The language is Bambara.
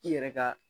I yɛrɛ ka